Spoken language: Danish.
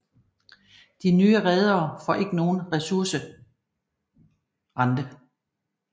De nye redere får ikke nogen ressourcerente